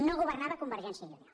no governava convergència i unió